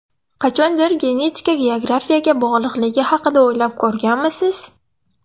Qachondir genetika geografiyaga bog‘liqligi haqida o‘ylab ko‘rganmisiz?